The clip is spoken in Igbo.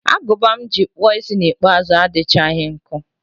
Agụba m ji kpụọ isi ikpeazụ m adịchaghị nkọ